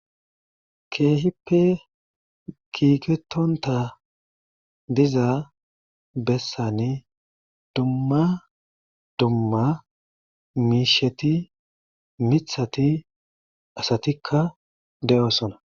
Keehippe kiketontha diza besani dumma dumma miishati miththati asatikka de'osona.